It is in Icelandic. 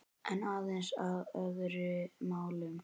En aðeins að öðrum málum.